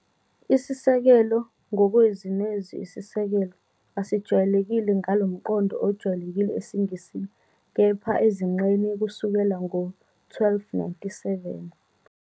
Isisekelo, ngokwezwi nezwi "isisekelo", asijwayelekile ngalo mqondo ojwayelekile esiNgisini, kepha ezinqeni kusukela ngo-1297,